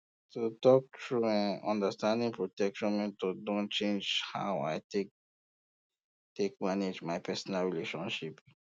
to talk true eh understanding protection methods don change how i dey take take manage my personal relationships